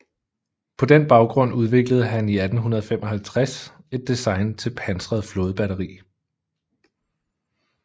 På den baggrund udviklede han i 1855 et design til pansret flådebatteri